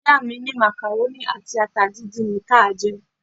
Ìyá mi ní macaroni àti ata díndín ni kí a jẹ.